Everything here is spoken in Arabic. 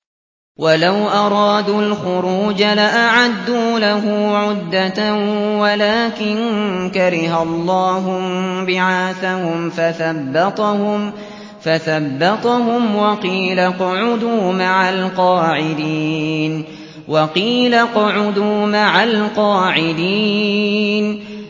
۞ وَلَوْ أَرَادُوا الْخُرُوجَ لَأَعَدُّوا لَهُ عُدَّةً وَلَٰكِن كَرِهَ اللَّهُ انبِعَاثَهُمْ فَثَبَّطَهُمْ وَقِيلَ اقْعُدُوا مَعَ الْقَاعِدِينَ